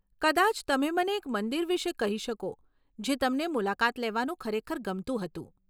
કદાચ તમે મને એક મંદિર વિશે કહી શકો જે તમને મુલાકાત લેવાનું ખરેખર ગમતું હતું.